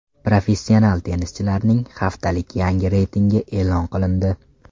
Professional tennischilarning haftalik yangi reytingi e’lon qilindi.